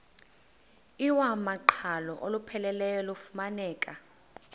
iwamaqhalo olupheleleyo lufumaneka